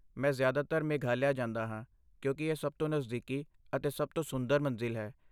ਮੈਂ ਜ਼ਿਆਦਾਤਰ ਮੇਘਾਲਿਆ ਜਾਂਦਾ ਹਾਂ, ਕਿਉਂਕਿ ਇਹ ਸਭ ਤੋਂ ਨਜ਼ਦੀਕੀ ਅਤੇ ਸਭ ਤੋਂ ਸੁੰਦਰ ਮੰਜ਼ਿਲ ਹੈ।